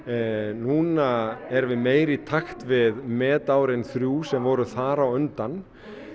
núna erum við meira í takt við metárin þrjú sem voru þar á undan